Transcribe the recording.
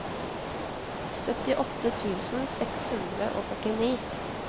syttiåtte tusen seks hundre og førtini